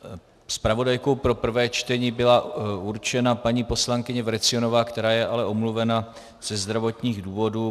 Zpravodajkou pro prvé čtení byla určena paní poslankyně Vrecionová, která je ale omluvena ze zdravotních důvodů.